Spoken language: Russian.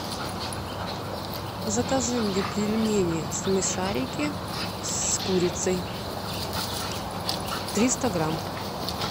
закажи мне пельмени смешарики с курицей триста грамм